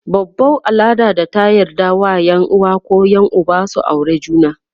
babau al'adar da ta yarje wa Yan uwa koh Yan Uba su aure juna